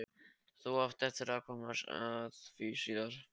Þú átt eftir að komast að því síðar.